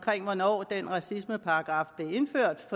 hvornår den racismeparagraf blev indført